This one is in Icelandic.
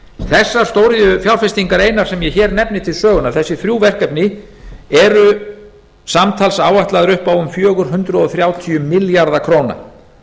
þessar stóriðjufjárfestingar einar sem ég hér nefni til sögunnar þessi þrjú verkefni eru samtals áætlaðar upp á fjögur hundruð þrjátíu milljarða króna